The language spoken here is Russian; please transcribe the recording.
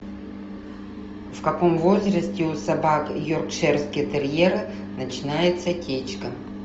в каком возрасте у собак йоркширский терьер начинается течка